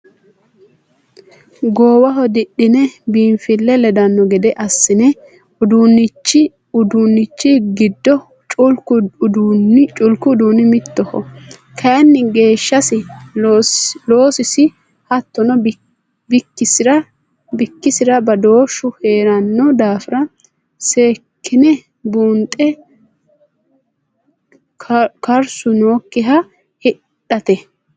Goowaho didhine biinfile ledano gede assi'nanni uduunchi giddo culku uduuni mittoho kayinni geeshshisi loosisi hattono bikkisira badooshu heerano daafira seekkine buunxe karsu noyikkiha hidhate.